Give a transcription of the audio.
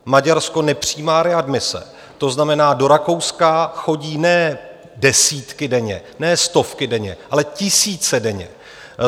Maďarsko nepřijímá readmise, to znamená, do Rakouska chodí ne desítky denně, ne stovky denně, ale tisíce denně.